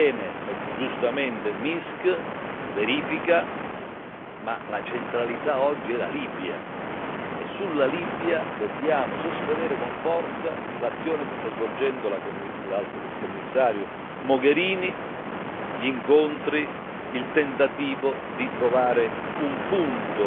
Va bene, giustamente, Minsk, verifica, ma la centralità oggi è la Libia e sulla Libia dobbiamo sostenere con forza l'azione che sta svolgendo l'Alto rappresentante Mogherini gli incontri, il tentativo di trovare un punto